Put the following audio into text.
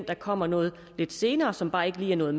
der kommer noget lidt senere som bare ikke lige er nået